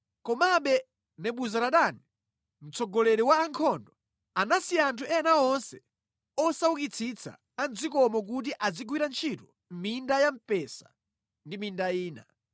Komabe Nebuzaradani mtsogoleri wa ankhondo anasiya anthu ena onse osaukitsitsa a mʼdzikomo kuti azigwira ntchito mʼminda ya mpesa ndi minda ina.